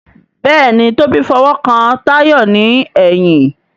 Béèni Tobi f'owo kán Tayo ní èyìn.